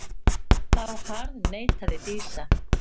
Þá harðneitaði Dísa.